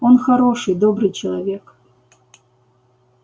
он хороший добрый человек